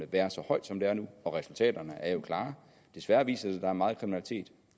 været så højt som det er nu og resultaterne er jo klare desværre viser det sig at der meget kriminalitet